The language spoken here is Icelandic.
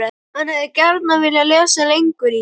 HANN HEFÐI GJARNAN VILJAÐ LESA LENGUR Í